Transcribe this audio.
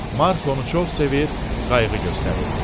Mark onu çox sevir, qayğı göstərirdi.